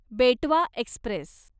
बेटवा एक्स्प्रेस